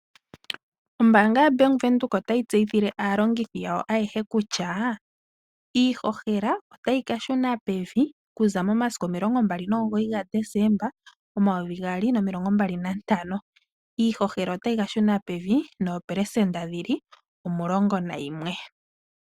Ombaanga ya Bank Windhoek otayi tseyithile aalongithi yawo ayehe kutya iihohela otayi ka shuna pevi okuza mo masiku omilongo mbali nomugoyi ga Dezemba omayovi gaali nomilongo mbali nantano. iIhohela otayi ka shuna pevi noopelesenda dhili omulongo nayimwe.